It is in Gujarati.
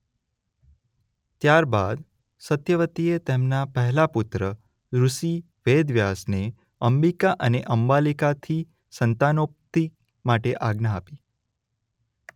ત્યાર બાદ સત્યવતીએ તેમના પહેલા પુત્ર ઋષિ વેદવ્યાસને અંબિકા અને અંબાલિકાથી સંતાનોત્પત્તિ માટે આજ્ઞા આપી.